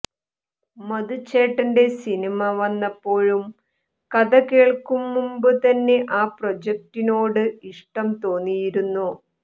മധുച്ചേട്ടന്റെ cinema വന്നപ്പോഴും കഥ കേൾക്കും മുൻപ് തന്നെ ആ പ്രൊജക്റ്റിനോട് ഇഷ്ടം തോന്നിയിരുന്നു